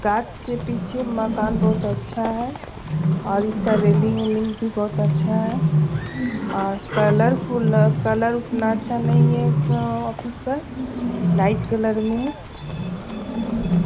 कांच के पीछे मकान बहुत अच्छा है और इसका रेलिंग उलिंग भी बहुत अच्छा है और कलर कूलर कलर उतना अच्छा नही है अ ऑफिस का। लाइट कलर में है।